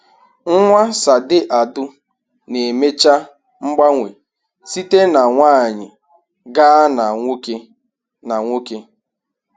Nwa Sade Adu na-emecha mgbanwe site na nwanyị gaa na nwoke na nwoke